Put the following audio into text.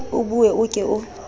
o bue o ke o